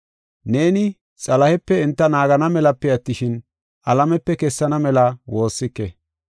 Neeni Xalahepe enta naagana melape attishin, alamepe kessana mela woossike.